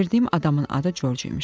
Gətirdiyim adamın adı Corc imiş.